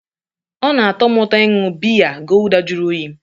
Ọ na-atọ m ụtọ ịṅụ biya gulder jụrụ oyi